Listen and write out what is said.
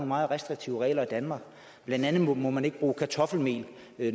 meget restriktive regler i danmark blandt andet må man ikke bruge kartoffelmel